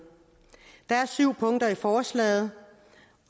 der er syv punkter i forslaget